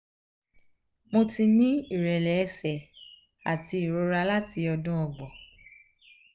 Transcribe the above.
mo ti ní ìrẹ́lẹ̀ ẹ̀sẹ̀ àti ìrora láti odun ogbon